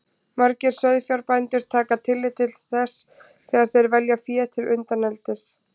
Margir sauðfjárbændur taka tillit til þess þegar þeir velja fé til undaneldis.